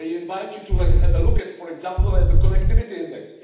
I invite you to have a look at, for example, the connectivity index.